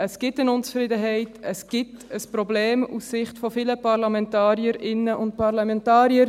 Es gibt eine Unzufriedenheit, es gibt ein Problem aus Sicht von vielen Parlamentarierinnen und Parlamentarier.